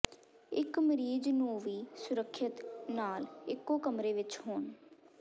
ਇੱਕ ਮਰੀਜ਼ ਨੂੰ ਵੀ ਸੁਰੱਖਿਅਤ ਨਾਲ ਇੱਕੋ ਕਮਰੇ ਵਿੱਚ ਹੋਣ